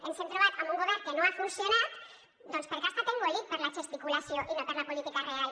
ens hem trobat amb un govern que no ha funcionat perquè ha estat engolit per la gesticulació i no per la política real